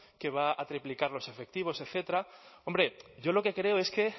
que va a triplicar los efectivos etcétera hombre yo lo que creo es que